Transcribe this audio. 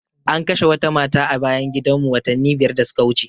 An kashe wata mata a bayan gidan mu watanni biyar da suka wuce